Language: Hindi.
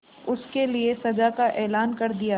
उसके लिए सजा का ऐलान कर दिया